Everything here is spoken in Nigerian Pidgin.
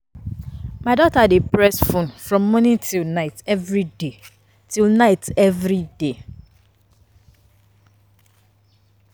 My daughter dey press phone from morning till night everyday, till night everyday